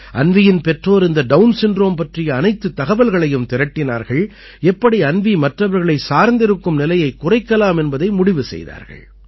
அன்வீயின் பெற்றோர் இந்த Down syndrome பற்றிய அனைத்துத் தகவல்களையும் திரட்டினார்கள் எப்படி அன்வீ மற்றவர்களைச் சார்ந்திருக்கும் நிலையைக் குறைக்கலாம் என்பதை முடிவு செய்தார்கள்